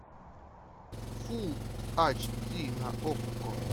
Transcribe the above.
фул ач ди на окко